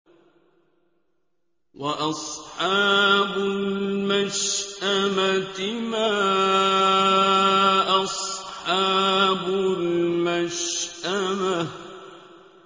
وَأَصْحَابُ الْمَشْأَمَةِ مَا أَصْحَابُ الْمَشْأَمَةِ